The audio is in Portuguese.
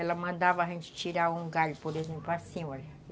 Ela mandava a gente tirar um galho, por exemplo, assim, olha.